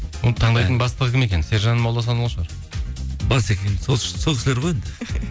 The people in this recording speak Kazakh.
оны таңдайтын бастығы кім екен сержан молдасынұлы шығар басекең сол кісілер ғой енді